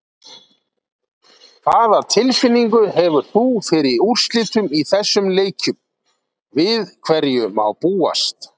Hvaða tilfinningu hefur þú fyrir úrslitum í þessum leikjum, við hverju má búast?